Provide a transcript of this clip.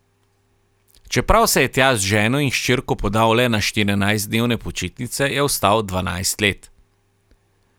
Čeprav se je tja z ženo in hčerko podal le na štirinajstdnevne počitnice, je ostal dvanajst let.